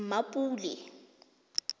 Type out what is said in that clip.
mmapule